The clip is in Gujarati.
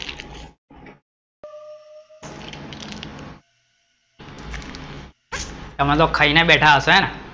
તમે તો ખાઈ ને બેઠા હસો, હેને